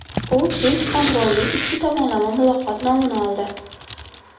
U ‘Keng qamrovli ikki tomonlama muloqot’ nomini oldi.